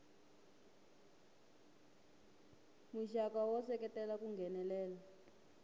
muxaka wo seketela ku nghenelela